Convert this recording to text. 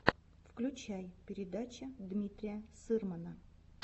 включай передача дмитрия сырмана